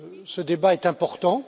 Ce débat est important.